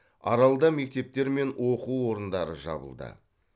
аралда мектептер мен оқу орындары жабылды